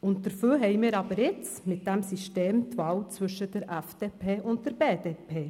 Dafür haben wir aber jetzt mit dem System die Wahl zwischen der FDP und der BDP.